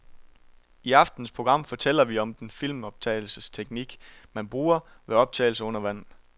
I aftenens program fortæller vi om den filmoptagelsesteknik, man bruger ved optagelser under vand.